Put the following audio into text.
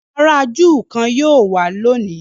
àrà júù kán yíò wá lóni